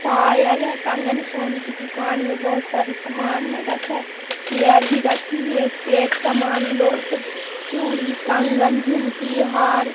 पायल है कंगन है सोने की दुकान में बहोत सारे सामान रखी है चेयर भी रखा है एक से एक समान लोक चूड़ी कंगन झुमकी हार--